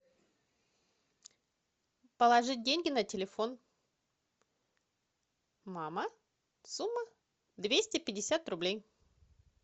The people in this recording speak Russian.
положить деньги на телефон мама сумма двести пятьдесят рублей